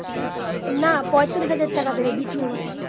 না পঁয়তাল্লিশ হাজার টাকা দেবে দ্বিতীয়বার